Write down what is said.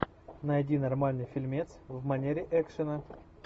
найди нормальный фильмец в манере экшена